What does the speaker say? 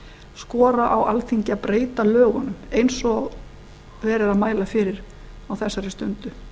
skora á alþingi að breyta lögunum eins og verið er mæla fyrir á þessari stundu